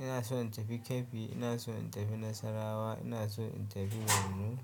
ina so in tafi Kebbi, ina so in tafi Nasarawa, ina so in tafi Borno.